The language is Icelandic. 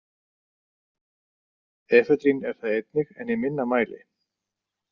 Efedrín er það einnig en í minna mæli.